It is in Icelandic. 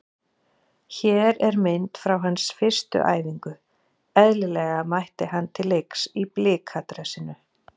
Hér er mynd frá hans fyrstu æfingu- eðlilega mætti hann til leiks í Blika dressinu.